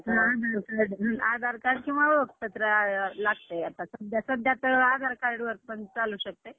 आमची बघ, मला आठवते बघ, कधी गेल्ती आमची सहल, हम्म सहावीत असताना गेल्ती बघ.